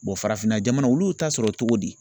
farafinna jamanaw olu y'u ta sɔrɔ cogo di.